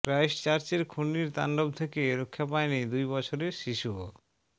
ক্রাইস্টচার্চের খুনির তাণ্ডব থেকে রক্ষা পায়নি দুই বছরের শিশুও